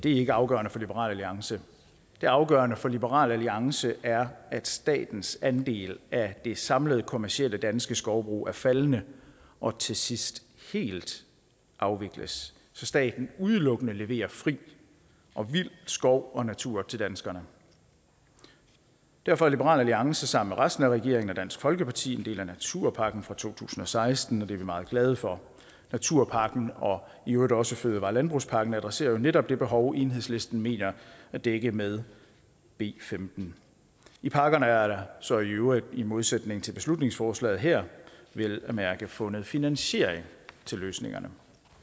ikke afgørende for liberal alliance det afgørende for liberal alliance er at statens andel af det samlede kommercielle danske skovbrug er faldende og til sidst helt afvikles så staten udelukkende leverer fri og vild skov og natur til danskerne derfor er liberal alliance sammen med resten af regeringen og dansk folkeparti en del af naturpakken fra to tusind og seksten og det er vi meget glade for naturpakken og i øvrigt også fødevare og landbrugspakken adresserer jo netop det behov enhedslisten mener at dække med b femtende i pakkerne er der så i øvrigt i modsætning til i beslutningsforslaget her vel at mærke fundet finansiering til løsningerne